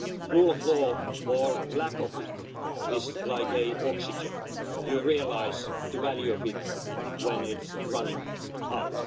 Rule of law, or lack of it, is like oxygen you realise the value of it when it's running out.